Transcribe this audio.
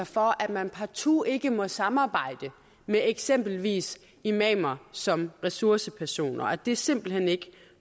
for at man partout ikke må samarbejde med eksempelvis imamer som ressourcepersoner og at det simpelt hen ikke